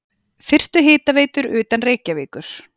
Fyrstu hitaveitur utan Reykjavíkur